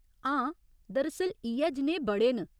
हां, दर असल इ'यै जनेहे बड़े न।